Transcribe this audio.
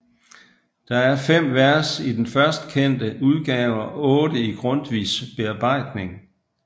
Der er fem vers i den først kendte udgave og otte i Grundtvigs bearbejdning